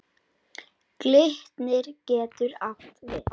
Glitnir getur átt við